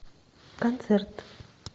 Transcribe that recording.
концерт